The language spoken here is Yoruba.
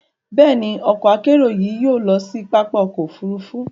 Bẹ́ẹ̀ni, ọkọ-akerò yìí yóò lọ sí pápá ọkọ̀ òfurufú